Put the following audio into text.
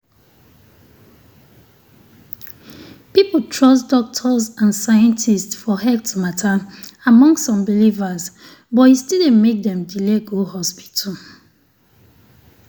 people trust doctors and scientists for health matter among some believers but e still dey make dem delay go hospital.